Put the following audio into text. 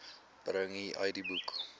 bring u idboek